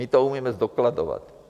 My to umíme zdokladovat.